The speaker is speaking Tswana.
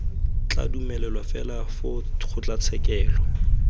tla dumelelwa fela foo kgotlatshekelo